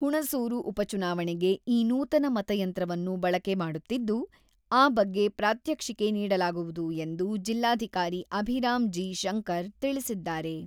ಹುಣಸೂರು ಉಪಚುನಾವಣೆಗೆ ಈ ನೂತನ ಮತಯಂತ್ರವನ್ನು ಬಳಕೆ ಮಾಡುತ್ತಿದ್ದು, ಆ ಬಗ್ಗೆ ಪ್ರಾತ್ಯಕ್ಷಿಕೆ ನೀಡಲಾಗುವುದು ಎಂದು ಜಿಲ್ಲಾಧಿಕಾರಿ ಅಭಿರಾಮ್ ಜಿ.ಶಂಕರ್‌ ತಿಳಿಸಿದ್ದಾರೆ.